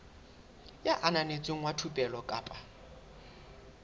ya ananetsweng wa thupelo kapa